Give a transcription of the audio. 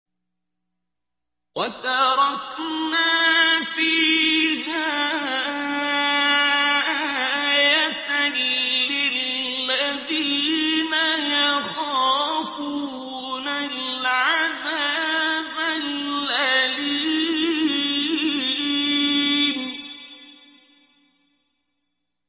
وَتَرَكْنَا فِيهَا آيَةً لِّلَّذِينَ يَخَافُونَ الْعَذَابَ الْأَلِيمَ